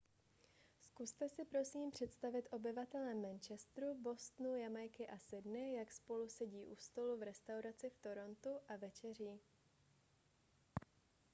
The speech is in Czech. zkuste si prosím představit obyvatele manchesteru bostonu jamajky a sydney jak spolu sedí u stolu v restauraci v torontu a večeří